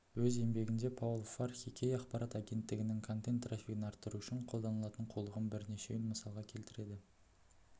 өз еңбегінде паул фархи кей ақпарат агенттігінің контент трафигін арттыру үшін қолданатын қулығының бірнешеуін мысалға келтіреді